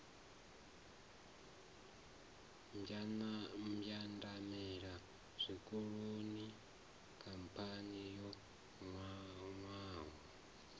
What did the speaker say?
mbwandamela zwikolodoni khamphani yo nwaho